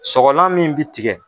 Sɔgɔlan min bi tigɛ.